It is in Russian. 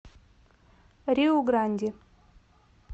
риу гранди